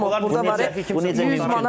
Elə hamı burda var, bu necə mümkün olar?